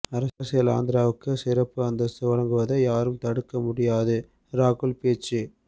அரசியல் ஆந்திராவுக்கு சிறப்பு அந்தஸ்து வழங்குவதை யாரும் தடுக்க முடியாது ராகுல் பேச்சு